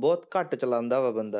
ਬਹੁਤ ਘੱਟ ਚਲਾਉਂਦਾ ਵਾ ਬੰਦਾ।